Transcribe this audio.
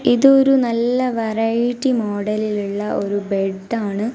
ഇതൊരു നല്ല വെറൈറ്റി മോഡലിലുള്ള ഒരു ബെഡാണ് .